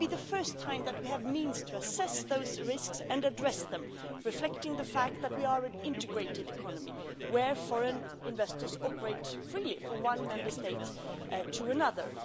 It would be the first time that we have the means to assess those risks and address them reflecting the fact that we are an integrated economy in which foreign investors operate freely from one Member State to another.